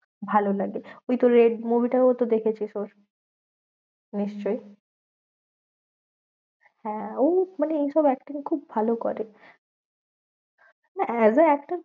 ভালো লাগে, ওই তোর এর movie টাও তো দেখেছিস ওর। নিশ্চই হ্যাঁ ও মানে এইসব acting খুব ভালো করে। না as a actor